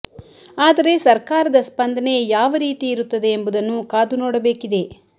ಆದರೆ ಸರ್ಕಾರದ ಸ್ಪಂದನೆ ಯಾವ ರೀತಿ ಇರುತ್ತದೆ ಎಂಬುದನ್ನು ಕಾದು ನೋಡಬೇಕಿದೆ